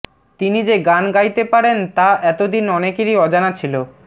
তিনি যে গান গাইতে পারেন তা এতদিন অনেকেরই অজানা ছিল